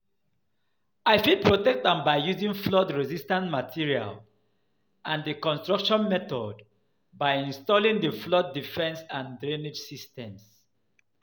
i fit protect am by using flood-resistant materials and di construction methods by installing di flood defense and drainage systems.